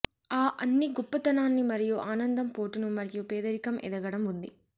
ఆ అన్ని గొప్పతనాన్ని మరియు ఆనందం పోటును మరియు పేదరికం ఎదగడం ఉంది